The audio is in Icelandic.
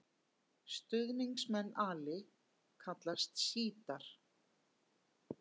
Stuðningsmenn Ali kallast sjítar.